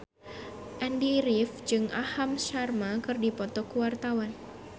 Andy rif jeung Aham Sharma keur dipoto ku wartawan